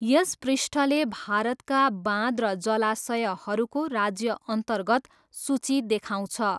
यस पृष्ठले भारतका बाँध र जलाशयहरूको राज्यअन्तर्गत सूची देखाउँछ।